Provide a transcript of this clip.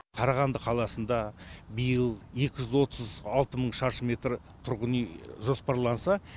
қарағанды қаласында биыл екі жүз отыз алты мың шаршы метр тұрғын үй жоспарланса